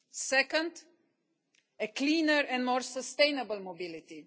second, cleaner and more sustainable mobility